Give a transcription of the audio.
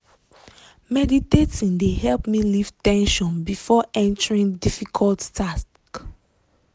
meditating de help me leave ten sion before entering difficult talk.